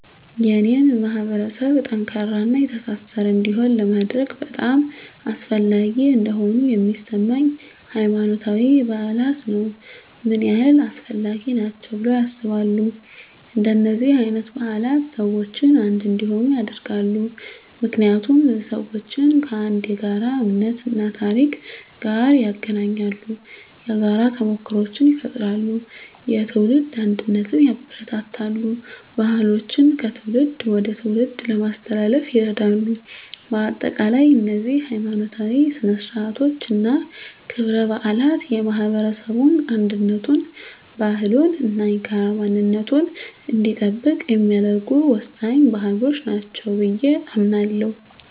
የኔን ማህበረሰብ ጠንካራና የተሳሰረ እንዲሆን ለማድረግ በጣም አስፈላጊ እንደሆኑ የሚሰማኝ፦ ** ሃይማኖታዊ በዓላት ነው **ምን ያህል አስፈላጊ ናቸው ብለው ያስባሉ? እንደነዚህ አይነት በዓላት ሰዎችን አንድ እንዲሆኑ ያደርጋሉ። ምክንያቱም ሰዎችን ከአንድ የጋራ እምነት እና ታሪክ ጋር ያገናኛሉ። የጋራ ተሞክሮዎችን ይፈጥራሉ፣ የትውልድ አንድነትን ያበረታታሉ፣ ባህሎችን ከትውልድ ወደ ትውልድ ለማስተላለፍ ይረዳሉ። በአጠቃላይ፣ እነዚህ ሀይማኖታዊ ሥነ ሥርዓቶች እና ክብረ በዓላት የማህበረሰቡን አንድነቱን፣ ባህሉን እና የጋራ ማንነቱን እንዲጠብቅ የሚያደርጉ ወሳኝ ባህሎች ናቸው ብየ አምናለሁ።